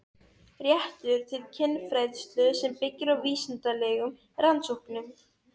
Réttur til kynfræðslu sem byggir á vísindalegum rannsóknum